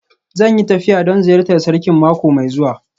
Zan yi tafiya don ziyartar Sarkin mako mai zuwa